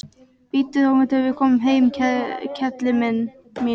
Bíddu þangað til við komum heim, kelli mín.